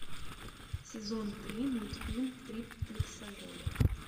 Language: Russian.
сезон три мультфильм триплексоголик